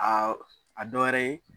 Aa a dɔ wɛrɛ ye